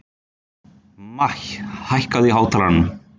Maj, hækkaðu í hátalaranum.